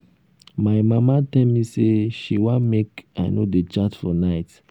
my mama tell me say she wan make i no dey chat for night